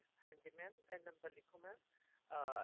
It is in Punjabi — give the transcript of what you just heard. ਹਾਂਜੀ mam ਇਹ ਨੰਬਰ ਲਿੱਖੋ mam ਅਹ